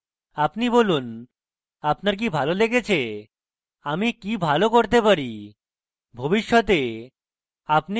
আপনি বলুন আপনার কি ভালো লেগেছে আমি কি ভালো করতে পারি ভবিষ্যতে আপনি কি দেখতে চান